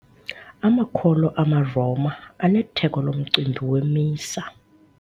Amakholwa amaRoma anetheko lomcimbi weMisa.